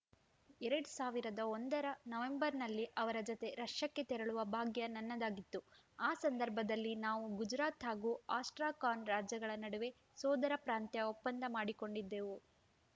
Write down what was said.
ಎರಡ್ ಸಾವಿರದ ಒಂದರ ನವೆಂಬರ್‌ನಲ್ಲಿ ಅವರ ಜತೆ ರಷ್ಯಾಕ್ಕೆ ತೆರಳುವ ಭಾಗ್ಯ ನನ್ನದಾಗಿತ್ತು ಆ ಸಂದರ್ಭದಲ್ಲಿ ನಾವು ಗುಜರಾತ್‌ ಹಾಗೂ ಅಸ್ಟ್ರಾಖಾನ್‌ ರಾಜ್ಯಗಳ ನಡುವೆ ಸೋದರ ಪ್ರಾಂತ್ಯ ಒಪ್ಪಂದ ಮಾಡಿಕೊಂಡಿದ್ದೆವು